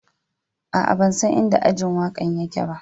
Aa, ban san in da ajin waka'n yake ba.